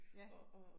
Ja